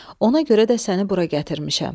Ona görə də səni bura gətirmişəm."